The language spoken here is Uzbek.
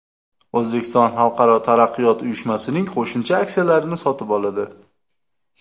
O‘zbekiston Xalqaro taraqqiyot uyushmasining qo‘shimcha aksiyalarini sotib oladi.